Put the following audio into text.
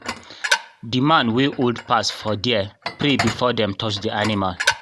the man wey old pass for there pray before them touch the animal